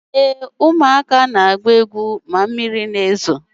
Ee, ụmụaka na-agba egwu na mmiri ozuzo.